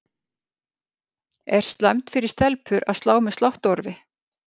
Er slæmt fyrir stelpur að slá með sláttuorfi?